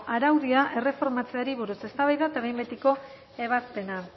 araudia erreformatzeari buruz eztabaida eta behin betiko ebazpena